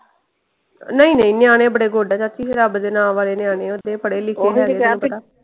ਨਹੀਂ ਨਹੀਂ ਨਿਆਣੇ ਬੜੇ good ਆ ਚਾਚੀ। ਰੱਬ ਦੇ ਨਾ ਵਾਲੇ ਨਿਆਣੇ ਓਹਦੇ ਪੜੇ ਲਿਖੇ ਹੈ ਪਤਾ।